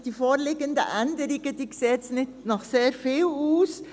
Die vorliegenden Änderungen sehen nicht nach sehr viel aus.